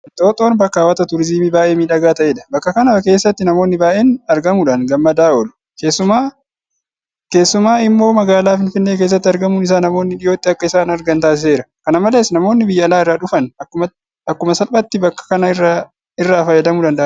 Inxooxxoon bakka hawwata turiizimii baay'ee miidhagaa ta'edha. Bakka kana keessatti namoonni baay'een argamuudhaan gammadaa oolu. Keessumaa immoo magaalaa Finfinnee keessatti argamuun isaa namoonni dhiyootti akka isaan argan taasiseera. Kana malees namoonni biyya alaa irraa dhufan akkuma salphaatti bakka kana irraa fayyadamuu danda'aniiru.